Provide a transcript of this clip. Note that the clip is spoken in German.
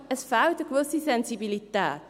Es fehlt eine gewisse Sensibilität.